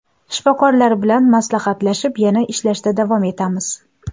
Shifokorlar bilan maslahatlashib, yana ishlashda davom etamiz.